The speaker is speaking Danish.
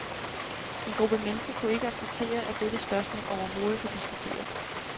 En gruppe mennesker kunne ikke acceptere, at dette spørgsmål overhovedet kan diskuteres.